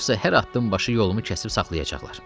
Yoxsa hər addım başı yolumu kəsib saxlayacaqlar.